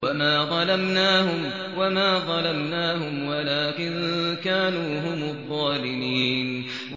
وَمَا ظَلَمْنَاهُمْ وَلَٰكِن كَانُوا هُمُ الظَّالِمِينَ